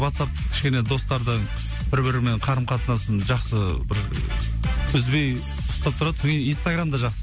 ватсап кішкене достардың бір бірінің қарым қатынасын жақсы бір үзбей ұстап тұрады инстаграм да жақсы